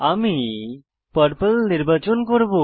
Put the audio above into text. আমি পার্পল নির্বাচন করব